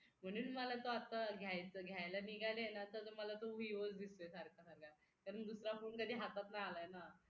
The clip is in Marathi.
म्हणून मला तो आता घ्यायचा घ्यायला निघाले ना तर मला तो vivo च दिसतोय सारखा सारखा कारण दुसरा फोन कधी हातात नाही आला ना